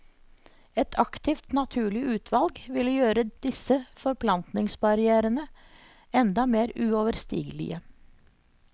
Et aktivt, naturlig utvalg ville gjøre disse forplantningsbarrièrene enda mer uoverstigelige.